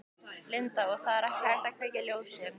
Linda: Og það er ekki hægt að kveikja ljósin?